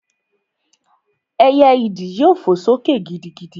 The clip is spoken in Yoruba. Ẹyẹ ìdí yóò fò sókè gidigidi